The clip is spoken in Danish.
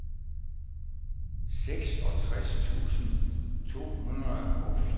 seksogtres tusind to hundrede og fireogfyrre